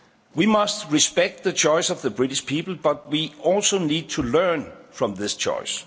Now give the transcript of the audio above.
We must respect the choice of the British people, but we also need to learn from this choice.